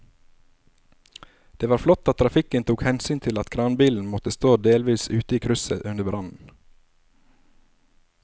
Det var flott at trafikken tok hensyn til at kranbilen måtte stå delvis ute i krysset under brannen.